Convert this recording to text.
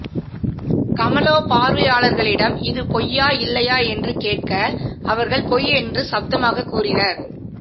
கமலோ பார்வையாளர்களிடம் இது பொய்யா இல்லையா என்று கேட்க அவர்கள் பொய் என்று சப்தமாக கூறினர்